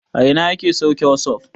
A ina ake sauke wasup?